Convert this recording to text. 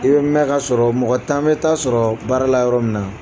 I bɛ mɛn ka sɔrɔ mɔgɔ tan bɛ ta sɔrɔ baara la yɔrɔ min na